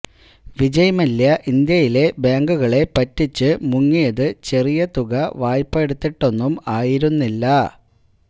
വിജയ് മല്യ ഇന്ത്യയിലെ ബാങ്കുകളെ പറ്റിച്ച് മുങ്ങിയത് ചെറിയ തുക വായ്പ എടുത്തിട്ടൊന്നും ആയിരുന്നില്ല